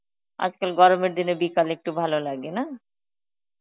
আজকাল গরমের দিনে বিকালে একটু ভালো লাগে, না?